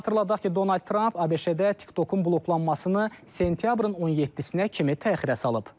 Xatırladaq ki, Donald Trump ABŞ-də TikTokun bloklanmasını sentyabrın 17-nə kimi təxirə salıb.